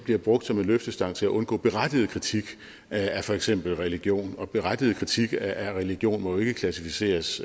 blive brugt som en løftestang til at undgå berettiget kritik af for eksempel religion og berettiget kritik af religion må jo ikke klassificeres